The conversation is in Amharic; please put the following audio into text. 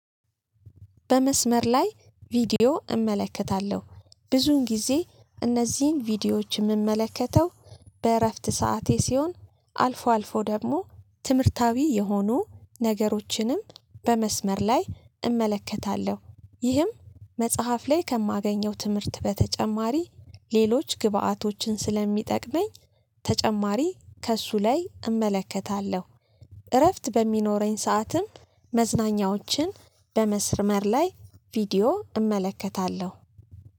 በመስመር ላይ ቪዲዮ እመለከታለሁ ብዙውን ጊዜ እነዚህ ቪዲዮዎች እምመለከተው በእረፍት ሰዓቴ ሲሆን አልፎ አልፎ ደግሞ ትምህርታዊ የሆኑ ነገሮችንም በመስመር ላይ እመለከታለሁ ይህም መጽሐፍ ላይ ከማገኘው ትምህርት በተጨማሪ ሌሎች ግብአቶችን ስለሚጠቅመኝ ተጨማሪ ከእሱ ላይ እመለከታለሁ። እረፍት በሚኖረኝ ሰዓትም መዝናኛዎችን በመስርመር ላይ ቪዲዮ እመለከታለሁ።